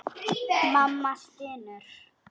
Mamma stynur.